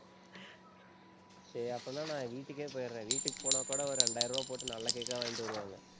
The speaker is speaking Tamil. சரி அப்படின்னா, நான் வீட்டுக்கே போயிடுறேன். வீட்டுக்கு போனா கூட ஒரு இரண்டாயிரம் ரூபாய் போட்டு நல்ல cake ஆ வாங்கிட்டு வருவாங்க.